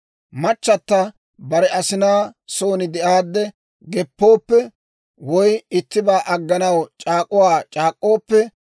«Machchata bare asinaa son de'aadde geppooppe, woy ittibaa agganaw c'aak'uwaa c'aak'k'ooppe,